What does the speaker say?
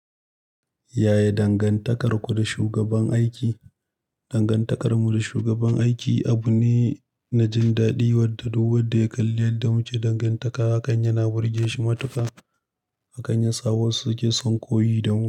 Yaye dangantakarku da shugaban aiki. Dangantakarmu da shugaban aiki abu ne na jin daɗi, wanda duk wanda ya kalli yadda muke dangantaka, haka yana burge shi matuƙa. Hakan ya sa wasu suke son koyi da mu.